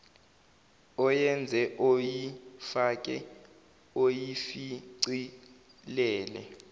oyenze oyifake oyishicilele